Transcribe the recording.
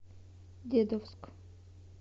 дедовск